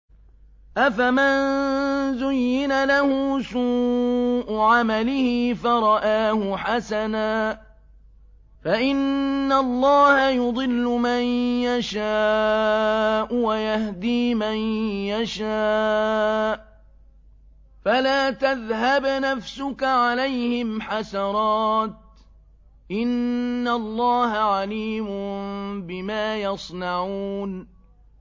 أَفَمَن زُيِّنَ لَهُ سُوءُ عَمَلِهِ فَرَآهُ حَسَنًا ۖ فَإِنَّ اللَّهَ يُضِلُّ مَن يَشَاءُ وَيَهْدِي مَن يَشَاءُ ۖ فَلَا تَذْهَبْ نَفْسُكَ عَلَيْهِمْ حَسَرَاتٍ ۚ إِنَّ اللَّهَ عَلِيمٌ بِمَا يَصْنَعُونَ